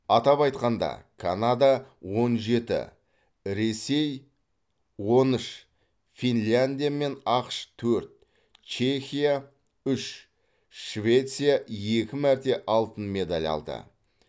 атап айтқанда канада он жеті ресей он үш финляндия мен ақш төрт чехия үш швеция екі мәрте алтын медаль алды